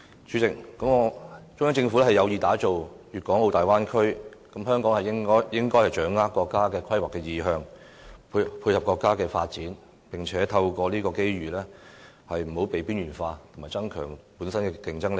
主席，中央政府有意打造粵港澳大灣區，香港應該掌握國家的規劃意向，配合國家發展，並透過這個機遇免致被"邊緣化"和增加本身的競爭力。